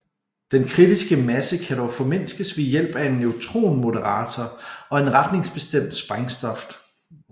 Den kritiske masse kan dog formindskes ved hjælp af en neutronmoderator og retningsbestemt sprængstof